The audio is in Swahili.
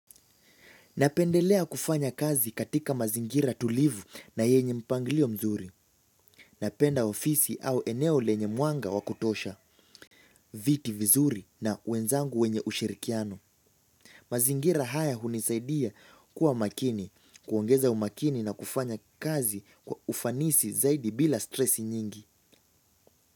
Napendelea kufanya kazi katika mazingira tulivu na yenye mpangilio mzuri. Napenda ofisi au eneo lenye muanga wa kutosha, viti vizuri na wenzangu wenye ushirikiano. Mazingira haya hunisaidia kuwa makini, kuongeza umakini na kufanya kazi kwa ufanisi zaidi bila stresi nyingi.